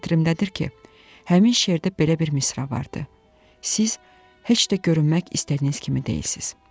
Xatirimdədir ki, həmin şeirdə belə bir misra vardı: Siz heç də görünmək istədiyiniz kimi deyilsiz.